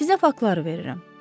Sizə faktlar verirəm.